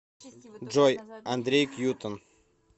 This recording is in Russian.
джой андрей кьютон